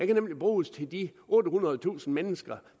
kan nemlig bruges til de ottehundredetusind mennesker